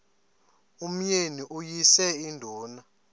umyeni uyise iduna